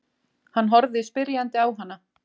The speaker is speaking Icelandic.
Hann horfði spyrjandi á hana.